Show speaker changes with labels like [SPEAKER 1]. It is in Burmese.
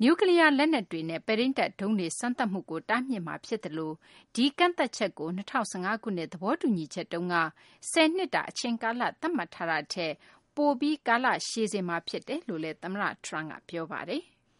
[SPEAKER 1] အီရန် အနေနဲ့ နျူးကလီးယား လက်နက်တွေနဲ့ ပဲ့ထိန်းတပ် ဒုံးကျည်တွေ စမ်းသပ်မှုကို တားမြစ်မှာ ဖြစ်သလို ဒီကန့်သတ်ချက်ကို ၂၀၁၅ ခုနှစ် သဘောတူညီချက်မှာ ၁၀ နှစ်တာ အချိန်ကာလ သတ်မှတ်ထားတာထက် ပိုပြီး ကာလရှည်စေမှာ ဖြစ်တယ်လို့လည်း သမ္မတ Trump က ပြောပါတယ်။